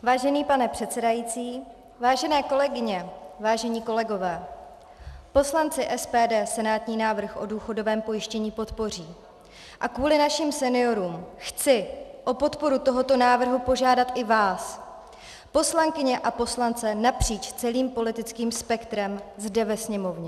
Vážený pane předsedající, vážené kolegyně, vážení kolegové, poslanci SPD senátní návrh o důchodovém pojištění podpoří a kvůli našim seniorům chci o podporu toho návrhu požádat i vás, poslankyně a poslance napříč celým politickým spektrem zde ve sněmovně.